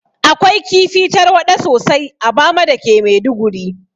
Akwai kifi tarwaɗa sosai a bama dake maiduguri